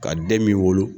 Ka den min wolo